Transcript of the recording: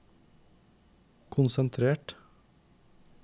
konsentrert